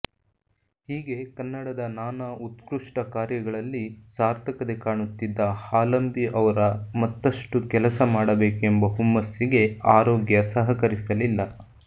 ಹೀಗೆ ಕನ್ನಡದ ನಾನಾ ಉತ್ಕೃಷ್ಟ ಕಾರ್ಯಗಳಲ್ಲಿ ಸಾರ್ಥಕತೆ ಕಾಣುತ್ತಿದ್ದ ಹಾಲಂಬಿ ಅವರ ಮತ್ತಷ್ಟು ಕೆಲಸ ಮಾಡಬೇಕೆಂಬ ಹುಮ್ಮಸ್ಸಿಗೆ ಆರೋಗ್ಯ ಸಹಕರಿಸಲಿಲ್ಲ